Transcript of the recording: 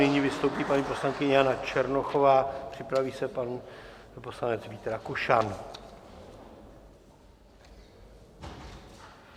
Nyní vystoupí paní poslankyně Jana Černochová, připraví se pan poslanec Vít Rakušan.